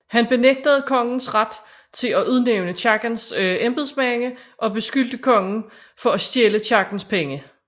Han benægtede kongens ret til at udnævne kirkens embedsmænd og beskyldte kongen for at stjæle kirkens penge